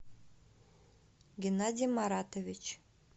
геннадий маратович